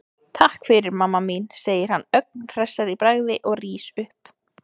Takk fyrir, mamma mín, segir hann ögn hressari í bragði og rís upp.